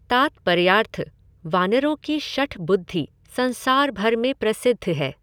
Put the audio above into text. तात्पर्यार्थः वानरों की शठ बुद्धि संसार भर में प्रसिद्ध है।